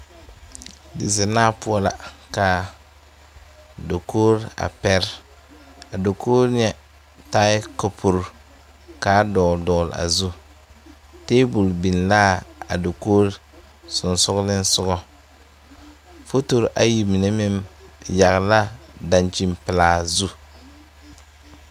Dizennaa poɔ la ka dakogri a pɛre a dakogri ŋɛ taaɛ kapuri k,a dɔgle dɔgle a zu tabol biŋ l,a dakogri sensoglesoga fotori ayi mine meŋ yagle la a dankyinpelaa zu.